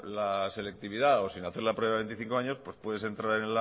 la selectividad o sin hacer la prueba de los veinticinco años pues puedes entrar